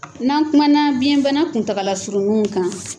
N'an kumana biyɛn bana kuntagala surununw kan